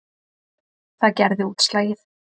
Það gerði útslagið.